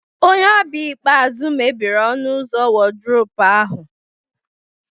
Onye ọbịa ikpeazụ mebiri ọnụ ụzọ wardrobe ahụ